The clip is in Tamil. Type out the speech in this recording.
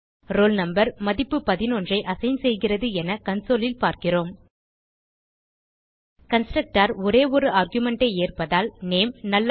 ரோல் நம்பர் மதிப்பு 11ஐ அசைன் செய்கிறது என consoleல் பார்க்கிறோம் கன்ஸ்ட்ரக்டர் ஒரே ஒரு argumentஐ ஏற்பதால் நேம்